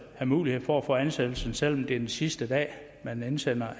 have mulighed for at få ansættelsen selv om det er den sidste dag man indsender